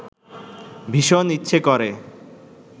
ভীষণ ইচ্ছে করে